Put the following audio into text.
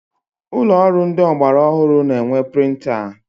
Ụlọ ọrụ ndị ọgbara ọhụrụ na-enwe printa.